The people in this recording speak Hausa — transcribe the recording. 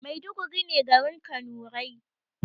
Maiduguri ne garin kanurai